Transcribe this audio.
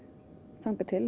þangað til